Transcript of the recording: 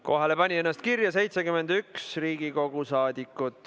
Kohale pani ennast kirja 71 Riigikogu saadikut.